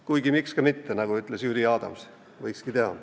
Kuigi miks ka mitte, nagu ütles Jüri Adams – võikski teha.